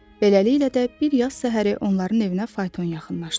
Beləliklə də, bir yaz səhəri onların evinə fayton yaxınlaşdı.